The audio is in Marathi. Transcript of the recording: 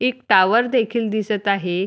एक टॉवर देखील आहे.